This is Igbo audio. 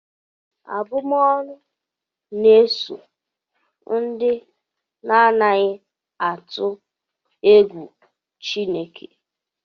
Abụm'ọnụ na-eso ndị na-adịghị atụ egwu Chineke